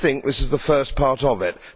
I think this is the first part of it.